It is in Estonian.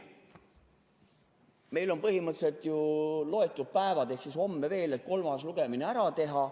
Meil on põhimõtteliselt ju loetud päevad ehk homme veel, et kolmas lugemine ära teha.